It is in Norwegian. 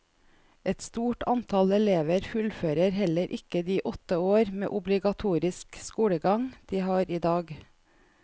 Et stort antall elever fullfører heller ikke de åtte år med obligatorisk skolegang de har i dag.